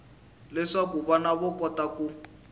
leswaku vana va kota ku